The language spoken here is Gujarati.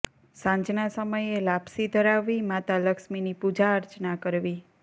સાંજના સમયે લાપસી ધરાવવી માતા લક્ષ્મીની પૂજા અર્ચના કરવી